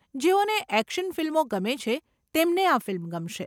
જેઓને એક્શન ફિલ્મો ગમે છે, તેમને આ ફિલ્મ ગમશે.